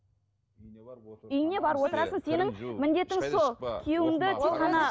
үйіңе барып отырасың сенің міндетің сол күйеуіңді тек қана